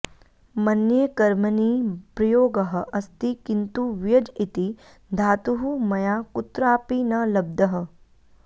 मन्ये कर्मणि प्रयोगः अस्ति किन्तु व्यज् इति धातुः मया कुत्रापि न लब्धः